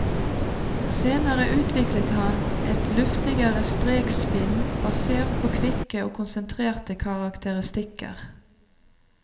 Senere utviklet han et luftigere strekspinn basert på kvikke og konsentrerte karakteristikker.